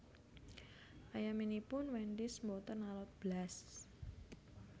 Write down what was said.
Ayaminipun Wendys mboten alot blas